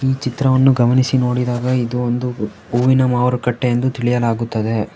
ಈ ಚಿತ್ರವನ್ನು ಗಮನಿಸಿ ನೋಡಿದಾಗ ಇದು ಒಂದು ಹೂವಿನ ಮಾರುಕಟ್ಟೆ ಎಂದು ತಿಳಿಯಲಾಗುತ್ತದೆ.